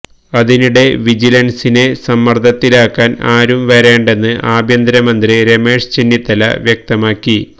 അതിനിടെ വിജിലൻസിനെ സമ്മർദ്ദത്തിലാക്കാൻ ആരും വരേണ്ടെന്ന് ആഭ്യന്തര മന്ത്രി രമേശ് ചെന്നിത്തല വ്യക്തമാക്കി